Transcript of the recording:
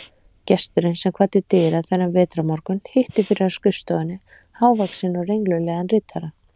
Gesturinn, sem kvaddi dyra þennan vetrarmorgun, hitti fyrir á skrifstofunni hávaxinn og renglulegan ritara